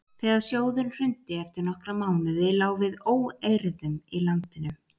þegar sjóðurinn hrundi eftir nokkra mánuði lá við óeirðum í landinu